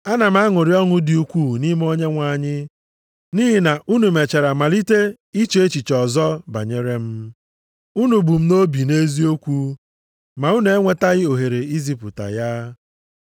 Ana m aṅụrị ọṅụ dị ukwuu nʼime Onyenwe anyị nʼihi na unu mechara malite iche echiche ọzọ banyere m. Unu bu m nʼobi nʼeziokwu ma unu enwetaghị ohere izipụta ya.